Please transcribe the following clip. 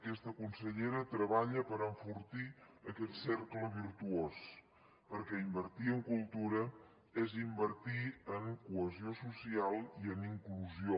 aquesta consellera treballa per enfortir aquest cercle virtuós perquè invertir en cultura és invertir en cohesió social i en inclusió